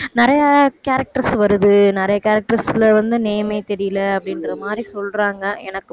நிறைய characters வருது நிறைய characters ல வந்து name ஏ தெரியல அப்படின்ற மாதிரி சொல்றாங்க எனக்~